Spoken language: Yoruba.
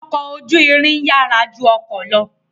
Ọkọ̀ ojú irin yàrá ju ọkọ̀ lọ